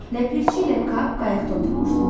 Ləpirçi ilə Kap qayıqda oturmuşdular.